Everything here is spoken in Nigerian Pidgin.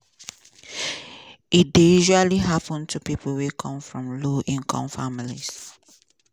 e dey usually happun to pipo wey come from low-income families.